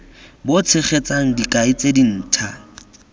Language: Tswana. bo tshegetsang dikai tse dintha